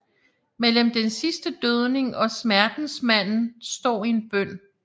Mellem den sidste dødning og Smertensmanden står en bøn